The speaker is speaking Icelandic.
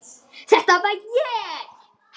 Þetta var ég.